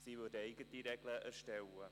Sie würden eigene Regeln erstellen.